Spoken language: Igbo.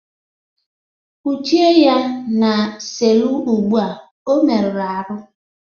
Kpọchie ya n'selu ụgbụa, ọ mere arụ!